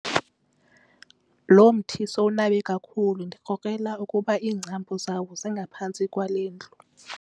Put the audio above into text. Lo mthi sowunabe kakhulu ndikrokrela ukuba iingcambu zawo zingaphantsi kwale ndlu.